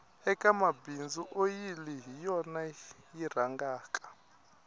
eka mabindzu oyili hi yona yi rhangaka